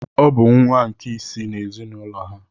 Ọ bụ nwa nke isii n’ezinụlọ ha.